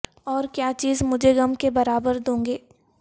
اور کیا چیز مجھے غم کے برابر دو گے